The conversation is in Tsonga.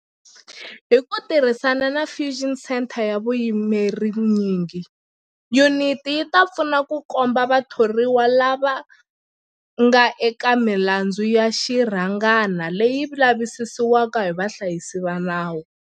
Hi ku tirhisana na Fusion Centre ya vuyimeri nyingi, yuniti yi ta pfuna ku komba vathoriwa lava nga eka milandzu ya xirhangana leyi lavisisiwaka hi vahlayisi va nawu.